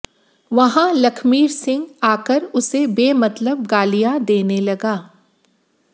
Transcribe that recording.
वहां लखमीर सिंह आकर उसे बेमतलब गालियां देने लगा